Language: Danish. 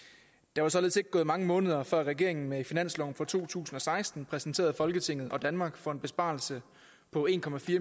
der var således ikke gået mange måneder før regeringen med finansloven for to tusind og seksten præsenterede folketinget og danmark for en besparelse på en